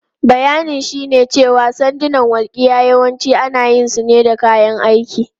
Bayanin shine cewa sandunan walƙiya yawanci ana yin su ne da kayan aiki.